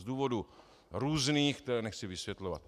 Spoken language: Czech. Z důvodů různých, které nechci vysvětlovat.